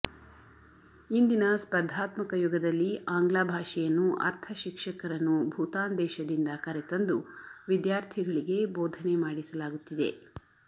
ಇಂದಿನ ಸ್ಪರ್ಧಾತ್ಮಕ ಯುಗದಲ್ಲಿ ಆಂಗ್ಲ ಭಾಷೆಯನ್ನು ಅರ್ಥ ಶಿಕ್ಷಕರನ್ನು ಭೂತಾನ್ ದೇಶ ದಿಂದ ಕರೆತಂದು ವಿದ್ಯಾರ್ಥಿಗಳಿಗೆ ಬೋಧನೆ ಮಾಡಿಸಲಾಗುತ್ತಿದೆ